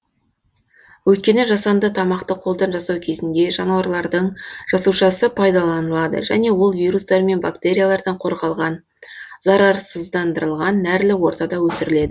өйткені жасанды тамақты қолдан жасау кезінде жануарлардың жасушасы пайдаланылады және ол вирустар мен бактериялардан қорғалған зарарсыздандырылған нәрлі ортада өсіріледі